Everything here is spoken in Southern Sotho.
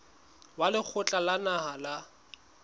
wa lekgotla la naha la